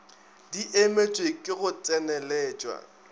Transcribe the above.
di emetšwe ke go tseneletšwa